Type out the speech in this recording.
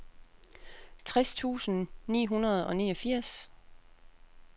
tres tusind ni hundrede og niogfirs